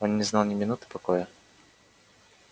он не знал ни минуты покоя